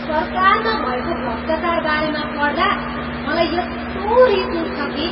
सरकारमा भएको भ्रष्टाचारबारेमा पढ्दा मलाई यस्तो रिस उठ्छ कि।